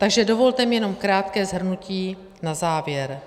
Takže dovolte mi jenom krátké shrnutí na závěr.